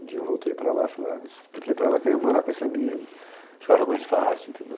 Um dia eu voltei para lá, fui lá, expliquei para ela que eu ia morar com esse amigo, ficava mais fácil, entendeu?